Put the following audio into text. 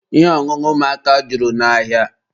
Ihe ọṅụṅụ ụmụaka juru n'ahịa.